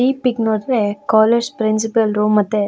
ಈ ಪಿಕ್ ನೋಡಿದ್ರೆ college principal room ಮತೆ --